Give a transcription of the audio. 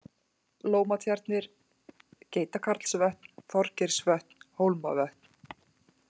Lómatjarnir, Geitakarlsvötn, Þorgeirsvötn, Hólmavötn